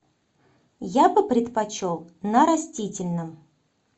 я бы предпочел на растительном